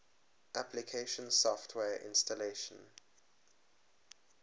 application software installation